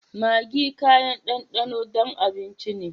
Maggi kayan danɗano don abinci ne.